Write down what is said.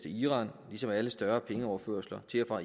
iran ligesom alle større pengeoverførsler til og